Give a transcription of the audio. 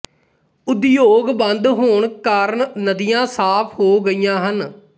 ਉਦਯੋਗ ਬੰਦ ਹੋਣ ਕਾਰਨ ਨਦੀਆਂ ਸਾਫ਼ ਹੋ ਗਈਆਂ ਹਨ